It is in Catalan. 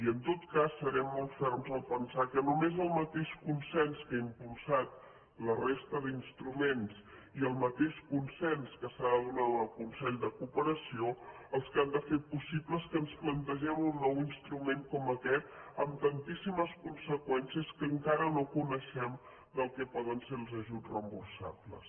i en tot cas serem molt ferms a pensar que només el mateix consens que ha impulsat la resta d’instruments i el mateix consens que s’ha de donar al consell de cooperació són els que han de fer possible que ens plantegem un nou instrument com aquest amb tantíssimes conseqüències que encara no coneixem del que poden ser els ajuts reemborsables